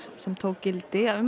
sem tók gildi um